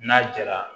N'a jara